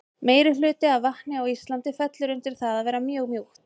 Meirihluti af vatni á Íslandi fellur undir það að vera mjög mjúkt.